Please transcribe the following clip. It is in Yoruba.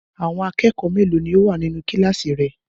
Àwọn akẹ́kọ̀ọ́ mélòó ni ó wà nínú kí kíláàsì rẹ?